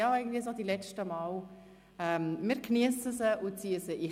Wir geniessen es noch und ziehen es rein.